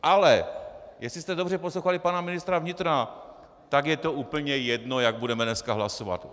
Ale jestli jste dobře poslouchali pana ministra vnitra, tak je to úplně jedno, jak budeme dneska hlasovat.